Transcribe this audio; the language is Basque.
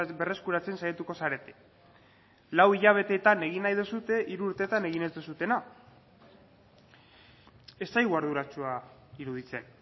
berreskuratzen saiatuko zarete lau hilabeteetan egin nahi duzue hiru urteetan egin ez duzuena ez zaigu arduratsua iruditzen